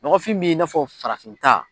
Nɔgɔfin bɛ'i n'a fɔ farafin ta.